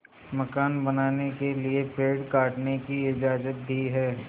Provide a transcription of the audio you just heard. मकान बनाने के लिए पेड़ काटने की इजाज़त दी है